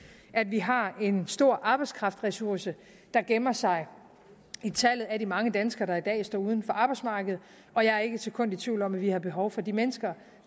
at vi har en stor arbejdskraftressource der gemmer sig i tallet for de mange danskere der i dag står uden for arbejdsmarkedet og jeg er ikke et sekund i tvivl om at vi har behov for de mennesker